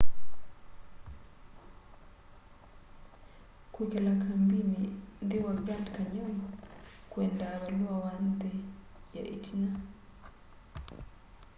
kwĩkala kambĩnĩ nthĩ wa grand canyon kwendaa valũa wa nthĩ ya ĩtina